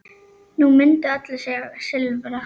Nú myndu allir segja Silfra.